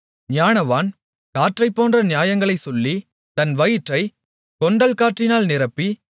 ஞானவான் காற்றைப்போன்ற நியாயங்களைச் சொல்லி தன் வயிற்றைக் கொண்டல்காற்றினால் நிரப்பி